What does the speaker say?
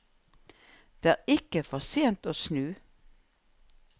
Det er ikke for sent å snu.